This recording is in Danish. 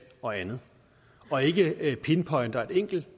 og andet og ikke ikke pinpointer et enkelt